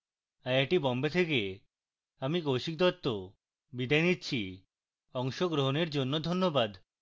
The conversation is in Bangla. আই আই টী বোম্বে থেকে আমি কৌশিক দত্ত বিদায় নিচ্ছি অংশগ্রহনের জন্য ধন্যবাদ